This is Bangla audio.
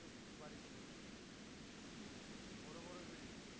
বড় বড় building